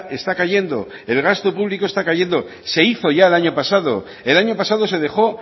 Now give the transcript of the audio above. está cayendo el gasto público está cayendo se hizo ya el año pasado el año pasado se dejó